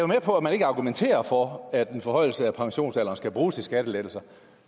med på at man ikke argumenterer for at en forhøjelse af pensionsalderen skal bruges til skattelettelser